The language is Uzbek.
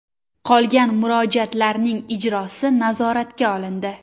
Qolgan murojaatlarning ijrosi nazoratga olindi.